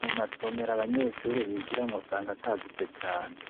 Mumasomero abanyeshure bigiramwo usanga atagutse cane